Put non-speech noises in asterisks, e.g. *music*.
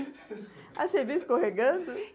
*laughs* Ah, você viu escorregando?